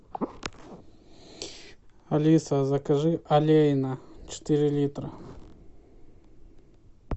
алиса закажи олейна четыре литра